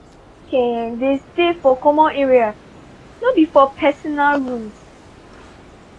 i tell dem make um dey stay for common areas no be for personal rooms.